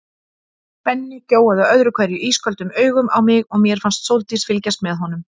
Benni gjóaði öðru hverju ísköldum augum á mig og mér fannst Sóldís fylgjast með honum.